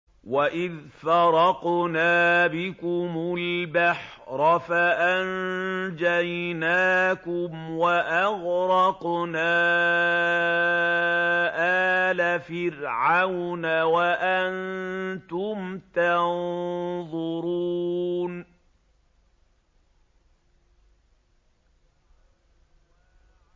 وَإِذْ فَرَقْنَا بِكُمُ الْبَحْرَ فَأَنجَيْنَاكُمْ وَأَغْرَقْنَا آلَ فِرْعَوْنَ وَأَنتُمْ تَنظُرُونَ